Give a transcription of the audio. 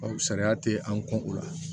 Ɔ sariya tɛ an kun o la